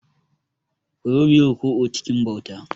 Ku zo, mu yi ruku'u cikin bauta.